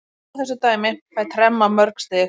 Rústa þessu dæmi, fæ tremma mörg stig.